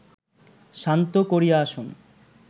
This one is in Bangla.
শান্ত করিয়া আসুন